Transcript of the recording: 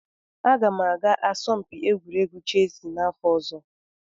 Aga m aga asọmpi egwuregwu chessị n'afọ ọzọ.